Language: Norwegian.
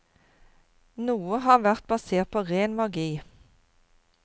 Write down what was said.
Noe har vært basert på ren magi.